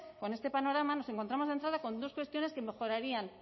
con este panorama nos encontramos de entrada con dos cuestiones que mejorarían